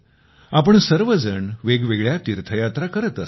आपण सर्वजण वेगवेगळ्या तीर्थयात्रा करत असतो